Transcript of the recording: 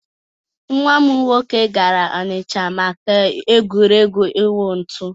Nwa m nwoke gara ọnịcha maka egwuregwu ịwụ ntụ.